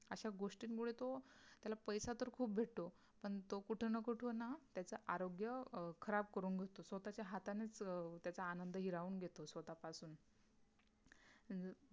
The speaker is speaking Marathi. अशा गोष्टींमुळे तो त्याला पैसे तर खूप भेटतो पण तो कुठे ना कुठे त्याच आरोग्य अं खराब करून घेतो स्वतः च्या हातानेच अं त्याचा आनंद हिरावून घेतो स्वतः पासून